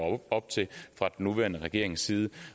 op til fra den nuværende regerings side